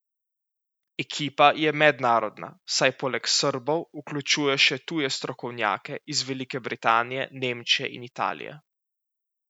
Ekipa je mednarodna, saj poleg Srbov vključuje še tuje strokovnjake iz Velike Britanije, Nemčije in Italije.